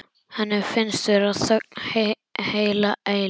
Henni finnst vera þögn heila eilífð.